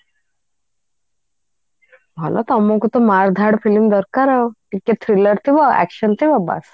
ଭଲ ତମକୁ ତ ମାର ଧାର film ଦରକାର ଆଉ ଟିକେ trailer ଥିବ action ଥିବ ବାସ